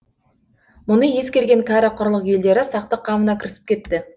мұны ескерген кәрі құрлық елдері сақтық қамына кірісіп кетті